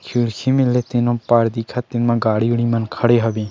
खिड़की मेर ले तीनों पार दिखत तेन म गाड़ी-वाड़ी मन खड़े हवे।